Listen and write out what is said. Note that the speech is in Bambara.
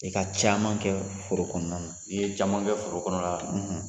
I ka caman kɛ foro kɔnɔna na i ye caman kɛ foro kɔnɔna na,